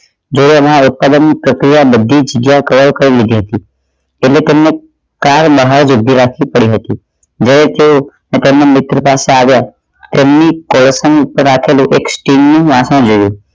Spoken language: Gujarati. દોરા ના ઉત્પાદન પ્રક્રિયા બધી જગ્યા cover કરી લીધી હતી અમુક અમુક trial મારવા જ ઊભી રાખવી પડી હતી પોતાના મિત્ર પાસે આવ્યા એમની પ્રથમ પર રાખેલો એક સ્ટીલ નું વાસણ લેવું